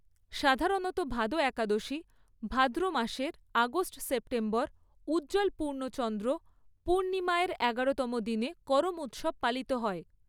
সাধারণত ভাদো একাদশী, ভাদ্র মাসের আগস্ট সেপ্টেম্বর উজ্জ্বল পূর্ণ চন্দ্র পূর্ণিমা এর এগারোতম দিনে করম উৎসব পালিত হয়।